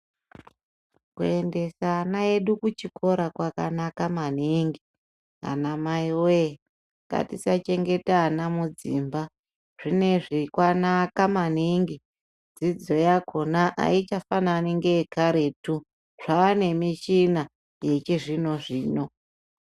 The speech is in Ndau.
Kuendesa ana edu kuchikora kwakanaka maningi ana mai we tisachengeta ana Mudzimba zvinezvi kwanaka maningi dzidzo yakona aichafanani karetu zvane muchina yechizvino zvino.